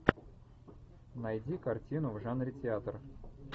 найди картину в жанре театр